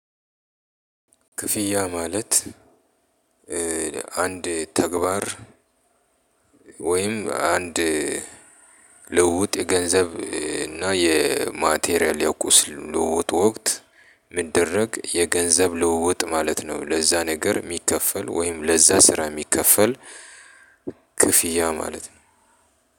ክፍያ ማለት አንድ ተግባር ወይም አንድ ልውጥ የገንዘብ እና የማቴሪያል የቁስ ልውውጥ ወቅት ሚደረግ የገንዘብ ልውውጥ ማለት ነው። ለዛ ነገር የሚከፈል ወይም ለዛ ስራ የሚከፈል ክፍያ ማለት ነው።